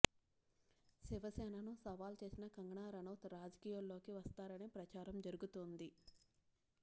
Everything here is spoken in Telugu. శివసేనను సవాల్ చేసిన కంగనా రనౌత్ రాజకీయాల్లోకి వస్తారని ప్రచారం జరుగుతోంది